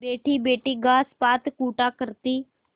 बैठीबैठी घास पात कूटा करती